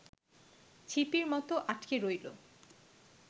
ছিপির মতো আটকে রইল